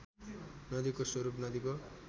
नदीको स्वरूप नदीको